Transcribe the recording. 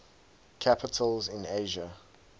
capitals in asia